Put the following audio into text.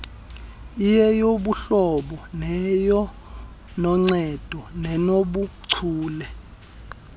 iyeyobuhlobo iyenoncedo nenobuchule